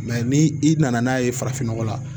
ni i nana n'a ye farafin nɔgɔ la